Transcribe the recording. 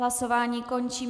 Hlasování končím.